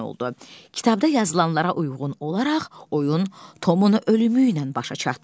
Kitabda yazılanlara uyğun olaraq oyun Tomun ölümüylə başa çatdı.